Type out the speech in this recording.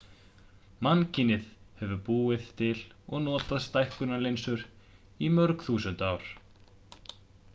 mannkynið hefur búið til og notað stækkunarlinsur í mörg þúsund ár